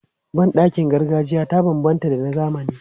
Ban ɗakin gargajiya ta banbanta da na zamani.